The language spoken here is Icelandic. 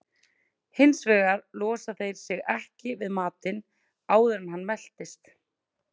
Hins vegar losa þeir sig ekki við matinn áður en hann meltist.